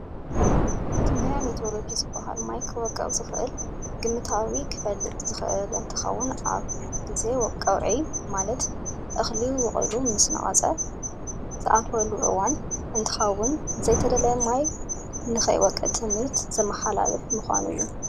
ትንበያ ሜትሮሎጅ ዝበሃል ማይ ክወቅዕ ዝክእል ግ መታዊ ክፍልጥ ዝክእል እንትከውን ኣብ ግዚ ቀውዕ ቀውዕ ማለት እክሊ ወቅሉ ምስ ነቀፀ ዝኣትወሉ እዋን እንትከውን ዘይተደለየ ማይ ንከይወቅዕ ትምህርት ዘ ማሓላልፍ ምካኑ እዩ።